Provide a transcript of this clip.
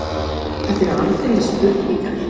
Þetta eru aldeilis spurningar.